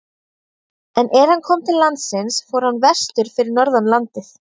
En er hann kom til landsins fór hann vestur fyrir norðan landið.